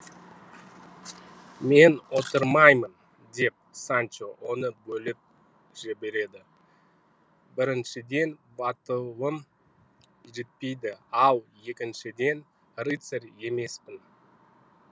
мен отырмаймын деп санчо оны бөліп жіберді біріншіден батылым жетпейді ал екіншіден рыцарь емеспін